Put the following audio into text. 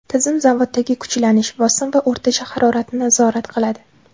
Tizim zavoddagi kuchlanish, bosim va o‘rtacha haroratni nazorat qiladi.